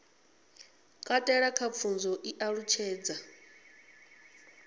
katela kha pfunzo i ṱalutshedza